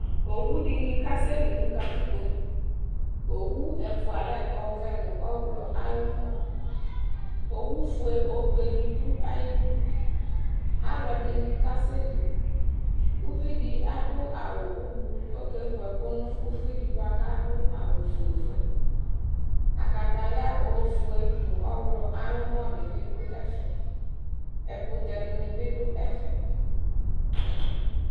Owudɩnɩ kasɛli nʋ katikpo, uwu ɛfʋa lɛ ɔvɛ nʋ ɔɣlɔ ay'ʋmɔ Owufue obedɩ dʋ ayidu, alʋɛdɩnɩ kasɛli , uvidɩ adʋ awʋ ʋblʋ k'okevu ɛkʋ nʋ uvidɩ bʋa k'adʋ awʋ fuele Kataya ofue nʋ ɔɣlɔ ay'ʋmɔdɩ bɩ dʋ ɛfɛ ɛkʋtɛdɩnɩ bɩ dʋ ɛfɛ